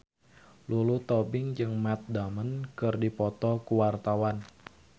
Lulu Tobing jeung Matt Damon keur dipoto ku wartawan